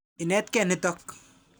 Inetkei nitok.